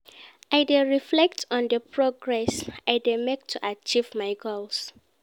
I dey reflect on di progress I dey make to achieve my goals